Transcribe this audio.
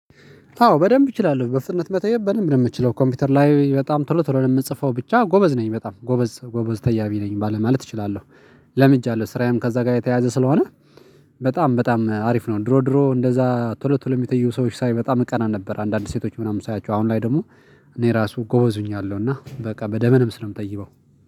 አዎ በደንብ እችላለሁ በፍጥነት መተየብ በደንብ ነው የምትችለው ኮምፒውተር ላይ በጣም ቶሎ ቶሎ ነው የምጽፈው ብቻ ጎበዝ ነኝ በጣም ጎበዝ ጎበዝ ተያቢ ነኝ ማለት እችላለሁ። ለምጃለሁ ስራዬም ከዛ ጋር የተያዘ ስለሆነ በጣም በጣም አሪፍ ነው። ድሮ ድሮ እንደዛ ቶሎ ቶሎ የሚተይው ሰዎች ሳይ በጣም እቀና ነበር። አንዳንድ ሴቶች ምናምን ሳያቸው አሁን ላይ ደግሞ እኔ ራሱ ጎበዙኛለሁ እና በቃ በደንብ ስለምታይበው